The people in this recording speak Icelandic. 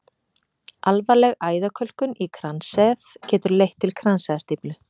Alvarleg æðakölkun í kransæð getur leitt til kransæðastíflu.